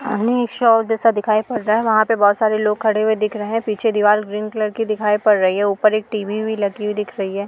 अ हमें एक शॉप जैसा दिखाई पड़ रहा है। वहां पे बहोत सारे लोग खड़े हुए दिख रहे हैं। पीछे दीवार ग्रीन कलर की दिखाई पड़ रही है। ऊपर एक टी.वी. भी लगी हुई दिख रही है।